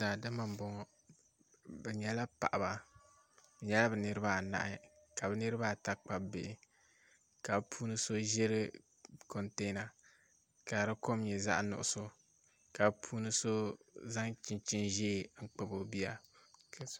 Daadama n bɔŋɔ bi nyɛla paɣaba bi nyɛla bi niraba anahi ka bi niraba ata kpabi bihi ka bi puuni so ʒiri kontɛna ka di kom nyɛ zaɣ nuɣso ka bi puuni so zaŋ chinchin ʒiɛ kpabi o bia